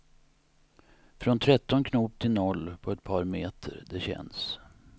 Från tretton knop till noll på ett par meter, det känns.